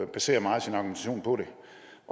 baserer meget sin argumentation på det